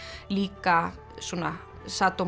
líka svona